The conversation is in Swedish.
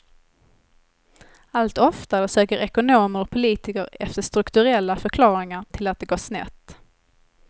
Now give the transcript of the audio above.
Allt oftare söker ekonomer och politiker efter strukturella förklaringar till att det gått snett.